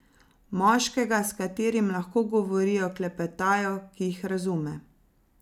Moškega, s katerim lahko govorijo, klepetajo, ki jih razume.